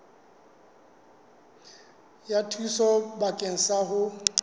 ya thuso bakeng sa ho